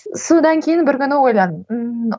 содан кейін бір күні ойладым